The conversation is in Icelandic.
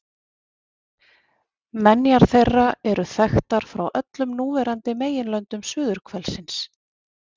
Menjar þeirra eru þekktar frá öllum núverandi meginlöndum suðurhvelsins